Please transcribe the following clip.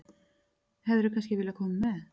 Hefðirðu kannski viljað koma með?